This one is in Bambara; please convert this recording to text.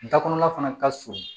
Da kɔnɔna fana ka surun